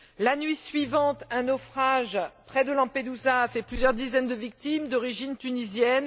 La nuit suivante, un naufrage près de Lampedusa a fait plusieurs dizaines de victimes d'origine tunisienne.